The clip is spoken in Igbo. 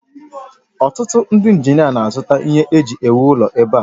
Otụtụ ndị injinia na-azụta ihe eji ewu ụlọ ebe a